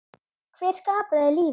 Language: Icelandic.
Hver skapaði lífið?